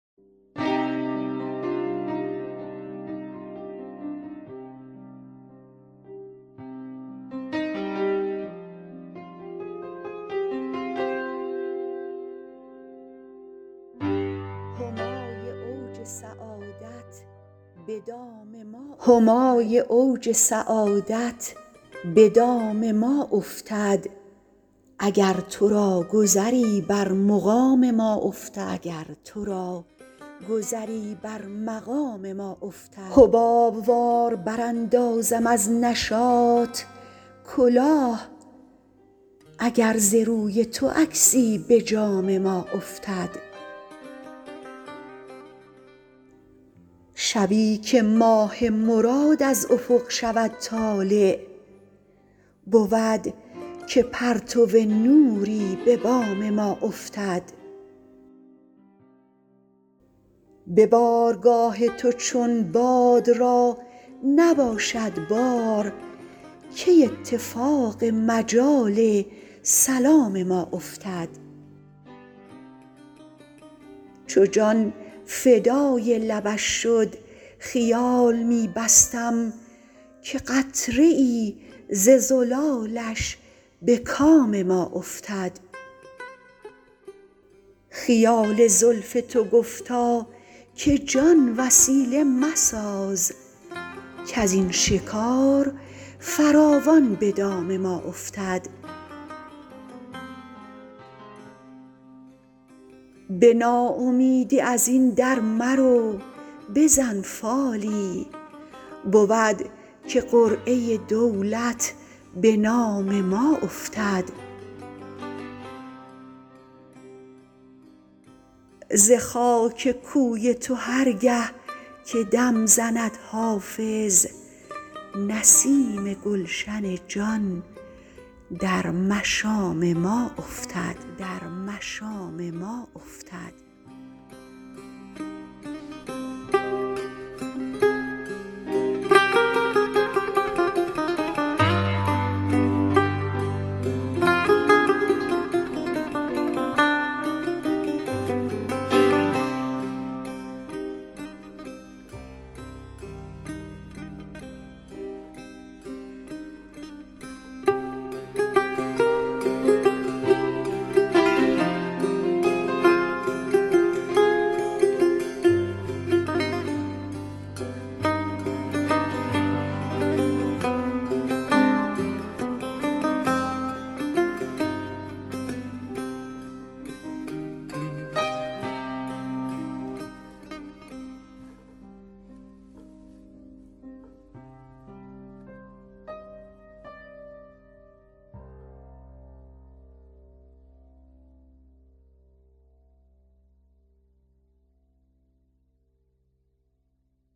همای اوج سعادت به دام ما افتد اگر تو را گذری بر مقام ما افتد حباب وار براندازم از نشاط کلاه اگر ز روی تو عکسی به جام ما افتد شبی که ماه مراد از افق شود طالع بود که پرتو نوری به بام ما افتد به بارگاه تو چون باد را نباشد بار کی اتفاق مجال سلام ما افتد چو جان فدای لبش شد خیال می بستم که قطره ای ز زلالش به کام ما افتد خیال زلف تو گفتا که جان وسیله مساز کز این شکار فراوان به دام ما افتد به ناامیدی از این در مرو بزن فالی بود که قرعه دولت به نام ما افتد ز خاک کوی تو هر گه که دم زند حافظ نسیم گلشن جان در مشام ما افتد